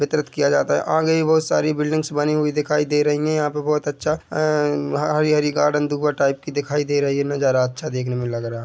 वितरित किया जाता हैं आगे भी बहुत सारी बिल्डिंग्स बनी हुई दिखाई दे रही हैं यहाँ पे बहुत अच्छा आ हरी - हरी गार्डन दो टाइप की दिखाई दे रही हैं नजारा अच्छा देखने मे लग रहा हैं।